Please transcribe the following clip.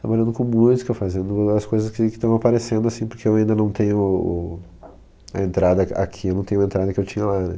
trabalhando com música, fazendo as coisas que que estão aparecendo, assim, porque eu ainda não tenho a entrada aq aqui, eu não tenho a entrada que eu tinha lá, né?